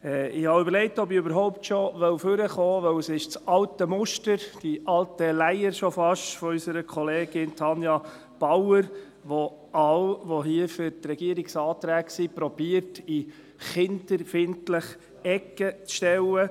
Ich habe überlegt, ob ich überhaupt schon nach vorne kommen soll, weil es das alte Muster, die schon fast alte Leier von unserer Kollegin Tanja Bauer ist, die versucht, alle, die hier für die Regierungsanträge sind, in die kinderfeindliche Ecke zu stellen.